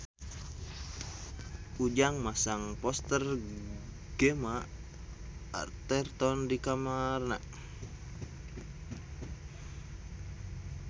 Ujang masang poster Gemma Arterton di kamarna